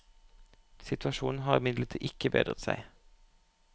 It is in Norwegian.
Situasjonen har imidlertid ikke bedret seg.